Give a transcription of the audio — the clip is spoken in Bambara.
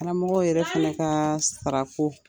Karamɔgɔw yɛrɛ fana kaa sarako